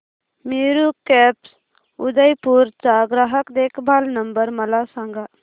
Meru cabs Udaipur चा ग्राहक देखभाल नंबर मला सांगा